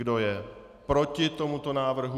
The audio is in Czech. Kdo je proti tomuto návrhu?